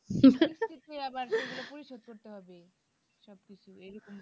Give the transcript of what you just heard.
সেগুলো আবার পরিশোধ করতে হবে সবকিছু এই রকম